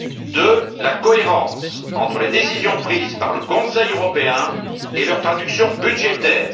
Deuxièmement, la cohérence entre les décisions prises par le Conseil européen et leur traduction budgétaire